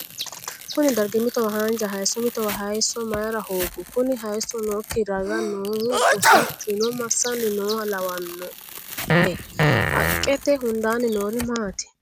Kuni dargi mitowa haanja hayiisso mitowa hayiisso mayiira hoogi? Kuni hayiisso nookki ragaa noohu woshichuno massanni nooha lawannohe? Haqqete hundaanni noorino maati?